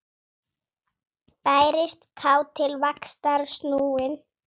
Bærist kát til vaxtar snúin.